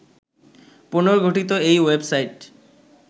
পুনর্গঠিত এই ওয়েবসাইট